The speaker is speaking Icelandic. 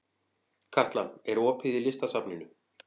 Katla, er opið í Listasafninu?